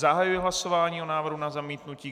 Zahajuji hlasování o návrhu na zamítnutí.